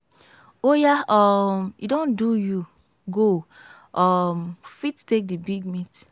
oya um e don do you go um fit take the big meat.